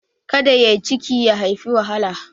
Ka da yai ciki ya haifi wahala.